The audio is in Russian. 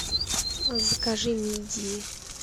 закажи мидии